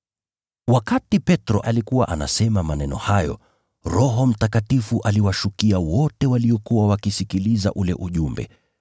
Wakati Petro alikuwa akisema maneno haya, Roho Mtakatifu aliwashukia wote waliokuwa wakisikiliza ule ujumbe.